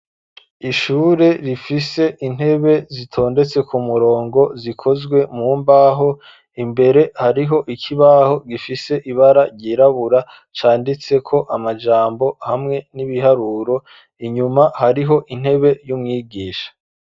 Ishure rifise intebe zitondetse ku murongo zikozwe mu mbaho imbere hariho ikibaho gifise ibara ryirabura canditseko amajambo hamwe n'ibiharuro inyuma hariho intebe y'umwigisha.